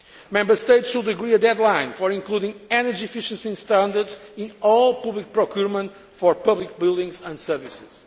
Member States should agree a deadline for including energy efficiency standards in all public procurement for public buildings and services.